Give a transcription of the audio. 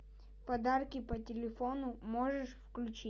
подарки по телефону можешь включить